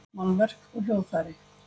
Málverk og hljóðfæri.